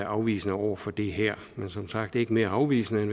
afvisende over for det her men som sagt ikke mere afvisende end